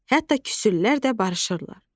Hətta küsülər də barışırlar.